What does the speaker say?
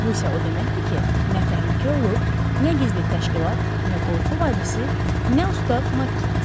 Bu isə o deməkdir ki, nə təhlükə olub, nə gizli təşkilat, nə qorxu vadisi, nə ustad Makkinti.